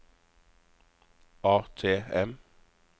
ATM